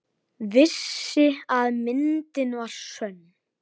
Vissi að myndin var sönn.